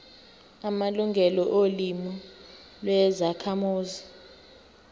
amalungelo olimi lwezakhamuzi